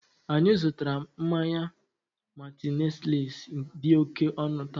anyị zụtara mmanya "martineliss" dị oke ọnụ taa